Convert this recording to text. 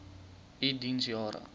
u diens jare